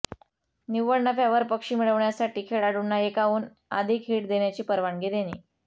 निव्वळ नफ्यावर पक्षी मिळविण्यासाठी खेळाडूंना एकाहून अधिक हिट देण्याची परवानगी देणे